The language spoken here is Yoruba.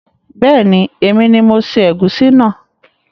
Beeni, èmi ni mo se ègúsí náà